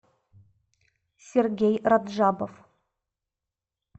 сергей раджабов